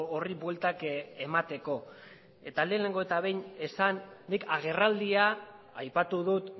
horri bueltak emateko eta lehenengo eta behin esan nik agerraldia aipatu dut